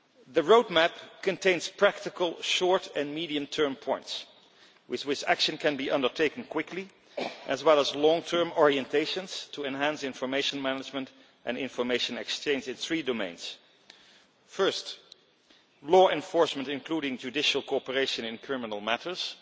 The roadmap contains practical, short and medium term points with which action can be undertaken quickly, as well as long term orientations to enhance information management and information exchange in three domains first, law enforcement, including judicial cooperation in criminal matters